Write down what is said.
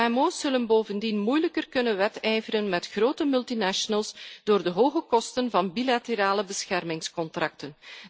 Kmo's zullen bovendien moeilijker kunnen wedijveren met grote multinationals door de hoge kosten van bilaterale beschermingscontracten.